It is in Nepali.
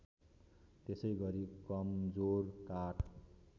त्यसैगरी कमजोर काठ